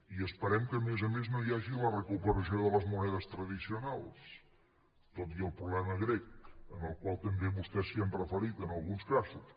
i esperem que a més a més no hi hagi la recuperació de les monedes tradicionals tot i el problema grec al qual també vostès s’ha referit en alguns casos